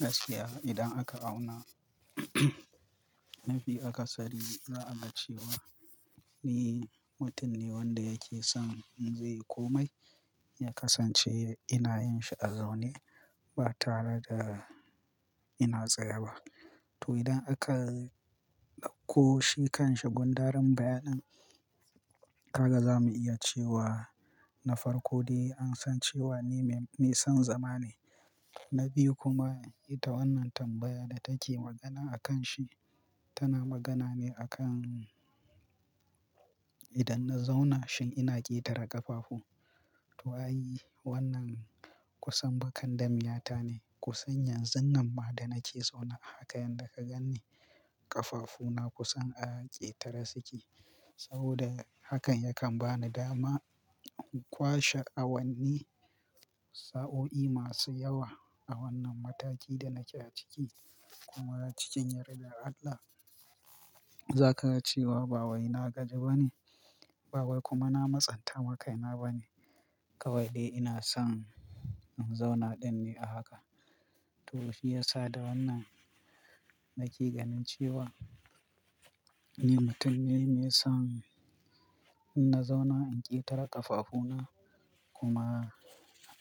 Gaskiya idan aka auna, mafi akasari za a ga cewa ni mutum ne wanda yake son in zai yi komai, ya kasance ina yin shi a zaune ba tare da ina tsaye ba. To idan aka ɗauko shi kan shi gundarin bayanin, haka za mu iya cewa na farko dai an san cewa ni mai son zama ne. Na biyu kuma ita wannan tambayar da take magana a kan shi, tana magana ne a kan idan na zauna shin ina ƙetare ƙafafu. To ai wannan kusan bakandamiyata ne. Kusan yanzun nan ma da nake zaune haka yadda ka gan ni ƙafafuna kusan a ƙetare suke. Saboda hakan yakan ba ni dama in kwashe awanni sa'o'i masu yawa a wannan mataki da nake a ciki. Kuma cikin yardar Allah, za ka ga cewa ba wai na gaji ba ne, ba wai kuma na matsanta wa kaina ba ne. Kawai dai ina son in zauna ɗin ne a haka. To shi ya sa da wannan nake ganin cewa ni mutum ne mai son in na zauna in ƙetare ƙafafuna kuma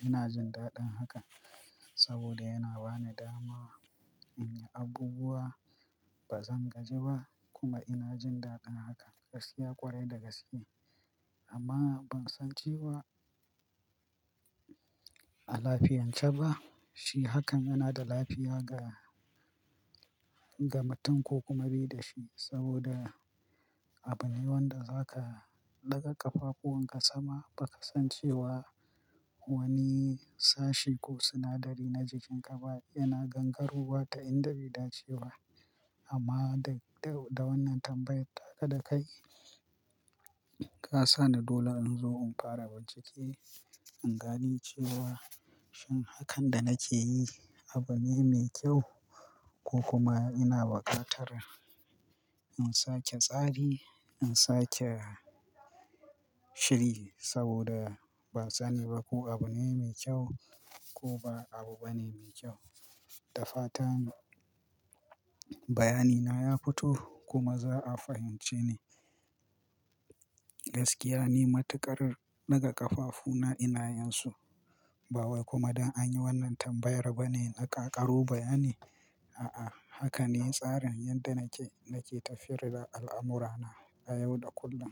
ina jin daɗin haka. Saboda yana ba ni dama in yi abubuwa ba zan gaji ba kuma ina jin daɗin haka. Gaskiya ƙwarai da gaske amma ban san cewa a lafiyance ba. Shi hakan yana da lafiya ga, ga mutum ko kuma bai da shi saboda abu ne wanda za ka ɗaga ƙafafunwanka sama baka san cewa wani sashi ko sinadari na jikinka ba yana gangarowa ta inda bai dace ba. Amma da wannan tambayar tawa da kai ka sa ni dole in zo in fara bincike, in gani cewa shin hakan da nake yi abu ne mai kyau ko kuma ina bukatar in sake tsari, in sake shiri saboda ban sani ba ko abu ne mai kyau ko ba abu ba ne mai kyau. Da fatan bayani na ya fito kuma za a fahimce ni. Gaskiya ni matuƙar daga ƙafafuna ina yin su. Ba wai kuma don an yi wannan tambayar ba ne na kaƙaro bayani. A'a, haka ne tsarin yadda nake, nake tafiyar da al'amurana na yau da kullum.